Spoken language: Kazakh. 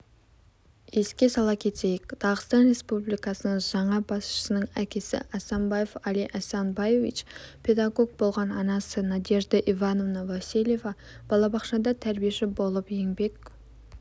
еске сала кетейік дағыстан республикасының жаңа басшысының әкесі асанбаев али асанбаевич педагог болған анасы надежда ивановна васильева балабақшада тәрбиеші болып еңбек